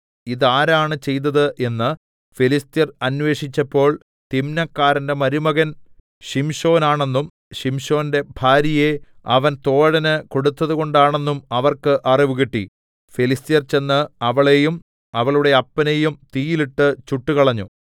ഇതാരാണ് ചെയ്തത് എന്ന് ഫെലിസ്ത്യർ അന്വേഷിച്ചപ്പോൾ തിമ്നക്കാരന്റെ മരുമകൻ ശിംശോൻ ആണെന്നും ശിംശോന്റെ ഭാര്യയെ അവൻ തോഴന് കൊടുത്തതുകൊണ്ടാണെന്നും അവർക്ക് അറിവ് കിട്ടി ഫെലിസ്ത്യർ ചെന്ന് അവളെയും അവളുടെ അപ്പനെയും തീയിലിട്ട് ചുട്ടുകളഞ്ഞു